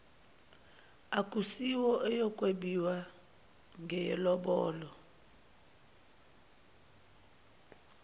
akusiyo eyokwebiwa ngeyelobolo